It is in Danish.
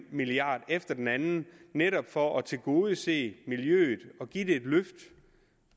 efter den anden netop for at tilgodese miljøet